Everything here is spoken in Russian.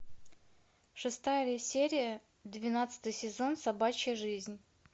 шестая серия двенадцатый сезон собачья жизнь